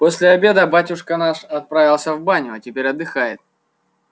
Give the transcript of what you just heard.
после обеда батюшка наш отправился в баню а теперь отдыхает